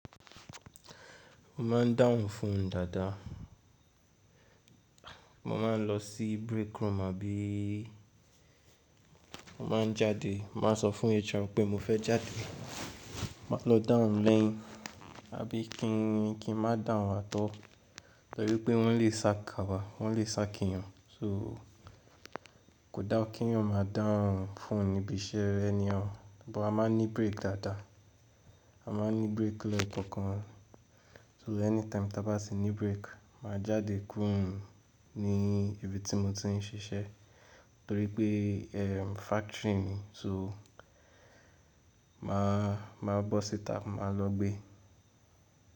Mo máa ń down fún dáadáa. Mo máa ń lọ sí break room àbí mo máa ń jáde. M á sọ fún HR pé mo fẹ́ jáde, máa lọ dahun lẹ́yìn, àbí kí n máa dáhùn àtọ̀. Nítorí pé wọ́n lè sá ka wa, wọ́n lè sá kínyọ́n. So kò dáwọ́ kínyọ́n máa down phone níbi iṣẹ́ anyhow. But a máa ń ní break dáadáa. A máa ń ní break lẹ kọ kan. So anytime táa bá tì ní break, mà á jáde kúrò ní ibi tí mo ti ń ṣiṣẹ́. Nítorí pé factory ni, so mà á bọ́ síta, mà á lọ gbé.